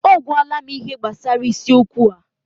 O gwala m ihe gbasara isiokwu a.